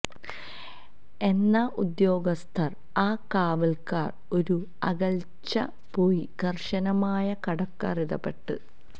എന്ന ഉദ്യോഗസ്ഥർ ആ കാവൽക്കാർ ഒരു അകൽച്ച പോയി കർശനമായ കടക്കാർ ഇടപെട്ട